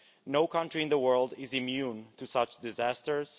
No country in the world is immune to such disasters.